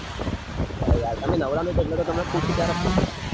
અરે યાર તમે નવરા નઈ એટલે તો તમને પૂછ્યું ક્યારે free પડે.